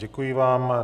Děkuji vám.